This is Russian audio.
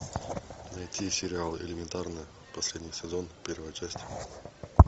найти сериал элементарно последний сезон первая часть